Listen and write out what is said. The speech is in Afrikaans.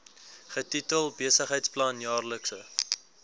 getitel besigheidsplan jaarlikse